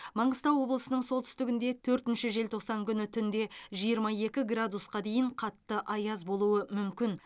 маңғыстау облысының солтүстігінде төртінші желтоқсан күні түнде жиырма екі градусқа дейін қатты аяз болуы мүмкін